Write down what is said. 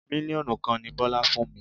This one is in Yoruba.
Mílíọ̀nù kan ni Bọ́lá fún mi.